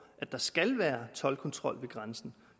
at der skal være toldkontrol ved grænsen